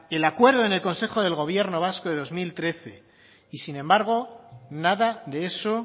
el acuerdo en el consejo del gobierno vasco del dos mil trece y sin embargo nada de eso